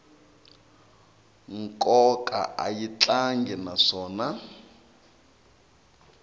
nkoka a yi talangi naswona